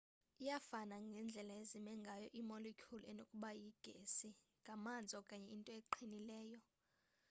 iyafana ngendlela ezime ngayo iimolecule enokuba yigesi ngamanzi okanye into eqinileyo